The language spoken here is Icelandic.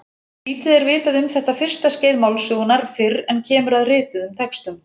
Lítið er vitað um þetta fyrsta skeið málsögunnar fyrr en kemur að rituðum textum.